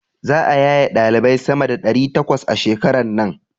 Za'a yaye ɗalibai sama da ɗari takwas a shekaran nan.